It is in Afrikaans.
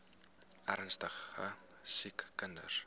ernstige siek kinders